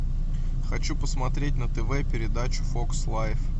хочу посмотреть на тв передачу фокс лайф